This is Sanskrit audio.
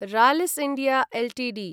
Rallis India Ltd